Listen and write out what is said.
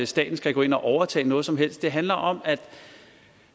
staten skal gå ind og overtage noget som helst det handler om